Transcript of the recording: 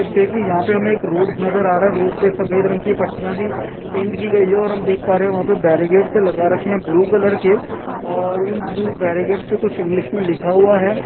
यहां देख सकते हैं की रोड नजर आ रहा है रोड पे सफेद रंग की पटिया सी पेंट की गई है और हम देख पा रहै हैं यहां पर बैरिकेड लगा रखे हैं ब्लू कलर के और उन ब्लू बैरिकेड पर कुछ इंग्लिश में लिखा हुआ है।